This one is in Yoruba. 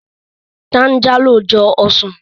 Táńjálò jọ ọsàn